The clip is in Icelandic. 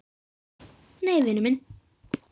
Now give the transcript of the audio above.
Nei, vinur minn.